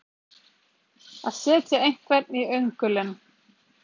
Að setja einhvern í öngulinn